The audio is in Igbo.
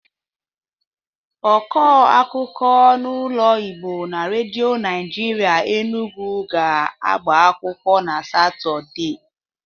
Ọkụ akụkụ n'olu Igbo na redo Naịjịrịa Enugwu ga-agbakwụkwọ na Satọde.